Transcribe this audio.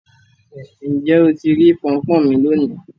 Ǹjẹ́ o tì rí pọnpọ́n mí lọ́ní?